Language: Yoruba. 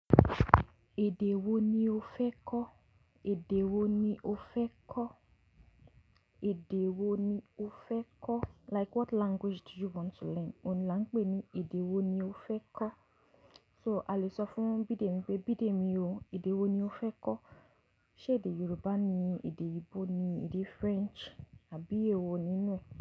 Èdè wo ni o fẹ́ kọ́? Èdè wo ni o fẹ́ kọ́? Èdè wo ni o fẹ́ kọ́? Like what language do you want to learn? Ó nlá ń pè é ní èdè wo ni o fẹ́ ka So a lè sọ fún Bídèmí pé Bídèmí o, èdè wo ni o fẹ́ kọ́? Ṣé èdè Yorùbá ni, èdè Igbo ni, èdè French àbí èwo nínú e.